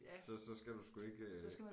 Så så skal du sgu ikke øh